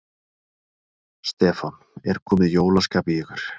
Stefán: Er komið jólaskap í ykkur?